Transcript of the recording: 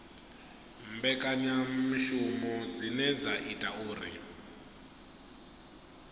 mbekanyamishumo dzine dza ita uri